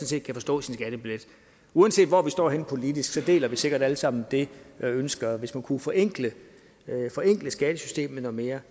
set kan forstå sin skattebillet uanset hvor vi står henne politisk deler vi sikkert alle sammen det ønske og hvis man kunne forenkle skattesystemet noget mere